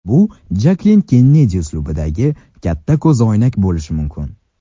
Bu Jaklin Kennedi uslubidagi katta ko‘zoynak bo‘lishi mumkin.